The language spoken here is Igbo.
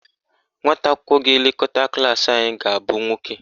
Nwata akwụkwọ ga-elekọta klaasị anyị ga-abụ nwoke.